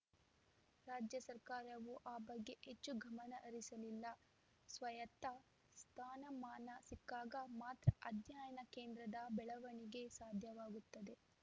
ರಾಜ್ಯ ಸರ್ಕಾರವೂ ಆ ಬಗ್ಗೆ ಹೆಚ್ಚು ಗಮನಹರಿಸಿಲ್ಲ ಸ್ವಾಯತ್ತ ಸ್ಥಾನಮಾನ ಸಿಕ್ಕಾಗ ಮಾತ್ರ ಅಧ್ಯಯನ ಕೇಂದ್ರದ ಬೆಳವಣಿಗೆ ಸಾಧ್ಯವಾಗುತ್ತದೆ